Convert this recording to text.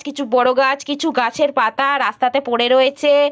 কিছু বড়ো গাছ কিছু গাছের পাতা-আ রাস্তাতে পড়ে রয়েছে-এ।